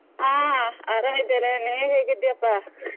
ಅಹ್ ಆರಾಮ್ ಇದ್ದೇನೆ, ನೀವು ಹೇಗಿದ್ಯಪ್ಪ?